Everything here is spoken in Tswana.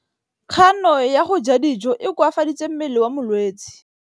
Kganô ya go ja dijo e koafaditse mmele wa molwetse.